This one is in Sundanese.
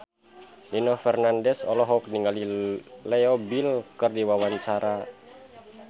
Nino Fernandez olohok ningali Leo Bill keur diwawancara